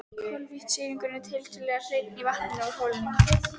Koltvísýringur er tiltölulega hreinn í vatninu úr holunni.